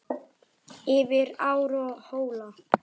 Yfir ár og hóla.